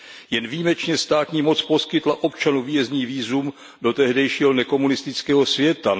Jen výjimečně státní moc poskytla občanu výjezdní vízum do tehdejšího nekomunistického světa.